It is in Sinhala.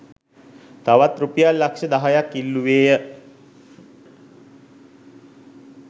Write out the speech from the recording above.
තවත් රුපියල් ලක්‍ෂ දහයක්‌ ඉල්ලුවේය.